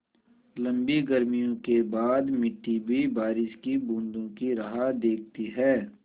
लम्बी गर्मियों के बाद मिट्टी भी बारिश की बूँदों की राह देखती है